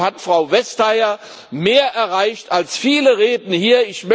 Und deshalb hat Frau Vestager mehr erreicht als viele Reden hier.